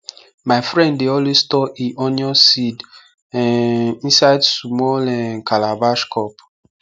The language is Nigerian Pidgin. my friend dey always store e onion seed um inside small um calabash cup